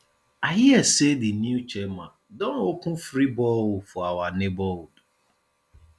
i hear say the new chairman don open free borehole for our neighborhood